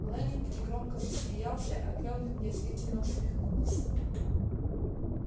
лэннинг негромко засмеялся а кэлвин язвительно усмехнулась